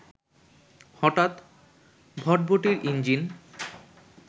হঠাৎ ভটভটির ইঞ্জিন